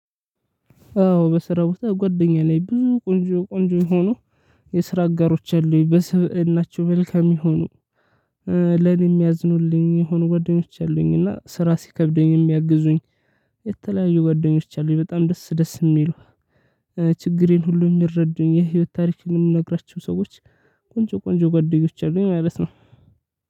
አዎ በስራ ቦታ ጓደኛ አለኝ ብዙ ቆንጆ ቆንጆ የሆኑ የስራ አጋሮች አሉኝ በስብዕናቸው መልካም የሆኑ ለኔ የሚያዝኑልኝ የሆኑ ጓደኞች አሉኝ። እና ስራ ሲከብደኝ የሚያግዙኝ። የተለያዩ ጓደኞች አሉኝ በጣም ደስ ደስ የሚሉ። ችግሬን ሁሉ የሚረዱኝ የህይወት ታሪኬን የምነግራችሁ ሰዎች። ቆንጆ ቆንጆ ጓደኞች አሉኝ ማለት ነው።